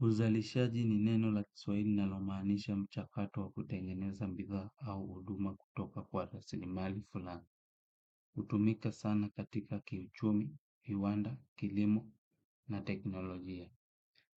Uzalishaji ni neno la kiswahili linalomaanisha mchakato wa kutengeneza bidhaa au huduma kutoka kwa rasilimali fulani hutumika sana katika uchumi, viwanda, kilimo na teknolojia.